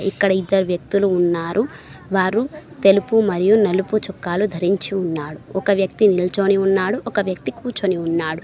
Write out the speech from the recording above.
ఇక్కడ ఇద్దరు వ్యక్తులు ఉన్నారు వారు తెలుపు మరియు నలుపు చొక్కాలు ధరించి ఉన్నాడు ఒక వ్యక్తి నిల్చని ఉన్నాడు ఒక వ్యక్తి కూర్చొని ఉన్నాడు.